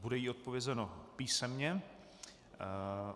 Bude jí odpovězeno písemně.